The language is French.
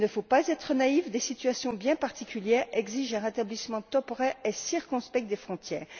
Mais il ne faut pas être naïfs, des situations bien particulières exigent un rétablissement temporaire et circonspect des frontières.